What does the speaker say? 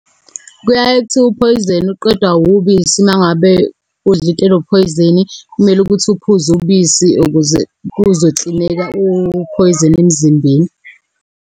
Kuyaye kuthiwe uphoyizeni uqedwa ubisi. Uma ngabe udle into enphoyizeni, kumele ukuthi uphuze ubisi ukuze kuzoklineka uphoyizeni emzimbeni.